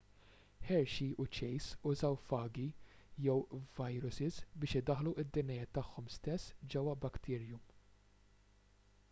hershey u chase użaw fagi jew vajrusis biex idaħħlu d-dna tagħhom stess ġewwa bacterium